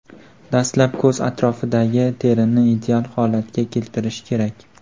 Dastlab ko‘z atrofidagi terini ideal holatga keltirish kerak.